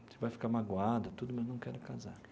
Você vai ficar magoada tudo, mas não quero casar.